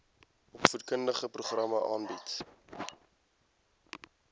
opvoedkundige programme aanbied